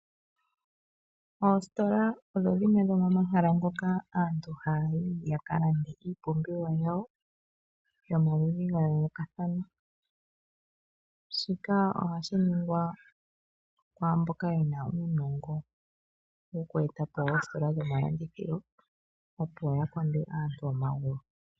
Oositola odho omahala ngoka aantu haya yi ya ka lande iipumbiwa yawo yomaludhi ga yoolokathana. Shika ohashi ningwa ku mboka yena uunongo woku eta po oositola dhomalandithilo ya konde aantu omagulu.